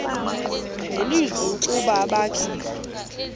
nelizwi ukuba abakhe